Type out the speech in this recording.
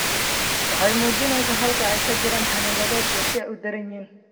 Waxay muujinaysaa halka ay ka jiraan xannibaado iyo sida ay u daran yihiin.